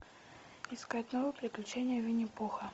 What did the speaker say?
искать новые приключения винни пуха